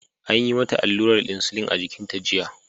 An yi mata allurar insulin a jikinta jiya.